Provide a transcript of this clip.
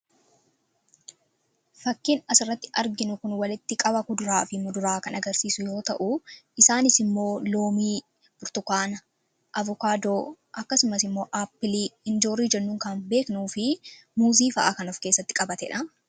Fakkiin asirratti arginu kun walitti qaba kuduraa fi muduraa kan agarsiisu yoo ta'u isaanis immoo Loomii, Burtukaana, Avukaadoo akkasumas immoo Aappilii, Injoorii jennuun kan beeknuu fi Muuzii fa'aa kan ofkeessatti qabatedha.